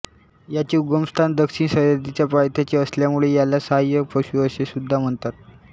याचे उगमस्थान दक्षिण सह्याद्रीच्या पायथ्याशी असल्यामुळे याला साह्य पशु असे सुद्धा म्हणतात